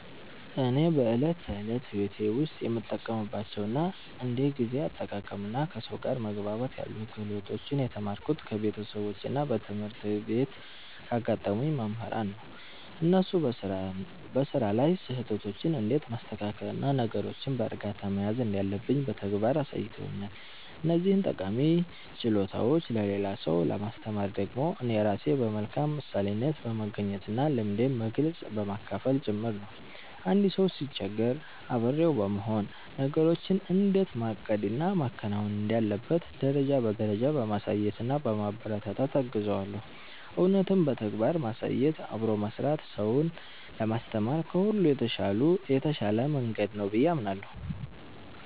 እኔ በዕለት ተዕለት ሕይወቴ ውስጥ የምጠቀምባቸውን እንደ ጊዜ አጠቃቀምና ከሰው ጋር መግባባት ያሉ ክህሎቶችን የተማርኩት ከቤተሰቦቼና በትምህርት ቤት ካጋጠሙኝ መምህራን ነው። እነሱ በሥራ ላይ ስህተቶችን እንዴት ማስተካከልና ነገሮችን በዕርጋታ መያዝ እንዳለብኝ በተግባር አሳይተውኛል። እነዚህን ጠቃሚ ችሎታዎች ለሌላ ሰው ለማስተማር ደግሞ እኔ ራሴ በመልካም ምሳሌነት በመገኘትና ልምዴን በግልጽ በማካፈል ጭምር ነው። አንድ ሰው ሲቸገር አብሬው በመሆን፣ ነገሮችን እንዴት ማቀድና ማከናወን እንዳለበት ደረጃ በደረጃ በማሳየትና በማበረታታት እገዘዋለሁ። እውነትም በተግባር ማሳየትና አብሮ መሥራት ሰውን ለማስተማር ከሁሉ የተሻለ መንገድ ነው ብዬ አምናለሁ።